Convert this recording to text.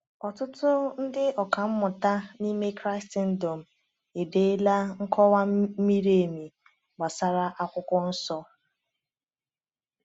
Ọtụtụ ndị ọkà mmụta n’ime Kraịstndọm edeela nkọwa miri emi gbasara Akwụkwọ Nsọ.